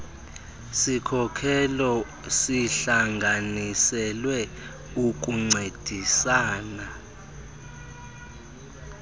sikhokelo sihlanganiselwe ukuncediasana